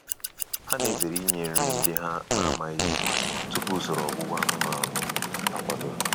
Ha na-ezere inye nri ndị ha na-amaghị tupu usoro ọgwụgwọ anụmanụ akwadoro.